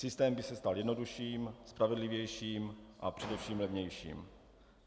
Systém by se stal jednodušším, spravedlivějším a především levnějším.